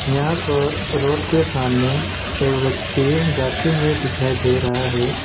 यहां पर रोड के सामने एक व्यक्ति जाते हुए दिखाई दे रहा है।